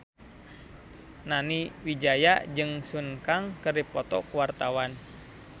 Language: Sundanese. Nani Wijaya jeung Sun Kang keur dipoto ku wartawan